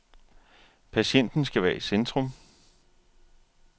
Patienten skal være i centrum.